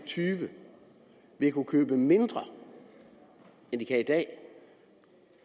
og tyve vil kunne købe mindre end de kan i dag